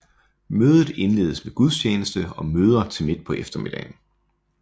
Mødet indledes med gudstjeneste og møder til midt på eftermiddagen